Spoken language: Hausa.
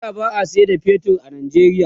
a da ba'a San da fetur a Nigeria ba